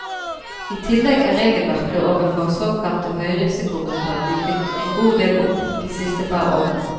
I tillegg er regelverket overfor såkalte høyrisikogrupper myket en god del opp de siste par årene.